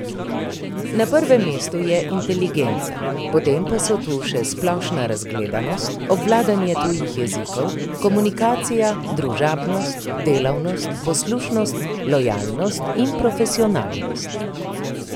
Na prvem mestu je inteligenca, potem pa so tu še splošna razgledanost, obvladovanje tujih jezikov, komunikacija, družabnost, delavnost, poslušnost, lojalnost in profesionalnost.